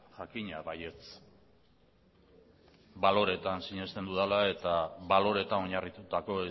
jakina baietz baloretan sinesten dudala eta baloretan oinarritutako